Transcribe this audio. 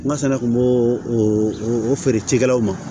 N ka sɛnɛ kun b'o o feere cikɛlaw ma